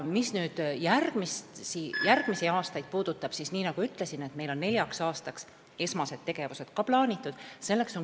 Mis nüüd järgmisi aastaid puudutab, siis, nagu ütlesin, meil on neljaks aastaks plaanitud ka esmased tegevused.